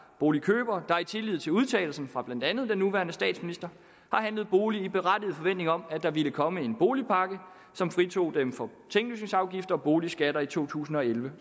boligkøbere der i tillid til udtalelsen fra blandt andet den nuværende statsminister har handlet bolig i berettiget forventning om at der ville komme en boligpakke som fritog dem for tinglysningsafgift og boligskatter i to tusind og elleve